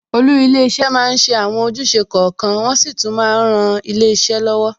Olú ilé iṣẹ́ máa ń ṣe àwọn ojúṣe kọ̀ọ̀kan, wọn sì tún máa ń ran ilé iṣẹ́ lọ́wọ́.